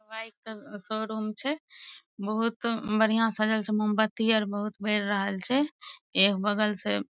bike का showroom छै बहुत बढ़िया सजल छै मोमबत्ती आर बहुत बेर रहल छै एक बगल से --